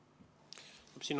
Hea märkus!